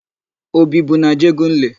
O bibu n'Ajegunle?